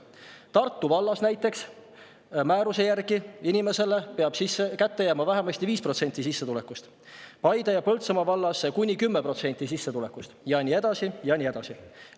Näiteks Tartu vallas peab määruse järgi inimesele kätte jääma vähemasti 5% sissetulekust, Paide ja Põltsamaa vallas kuni 10% sissetulekust ja nii edasi.